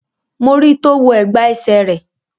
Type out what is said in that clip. Mo ri tó wọ ẹ̀gbà ẹsẹ̀ rẹ̀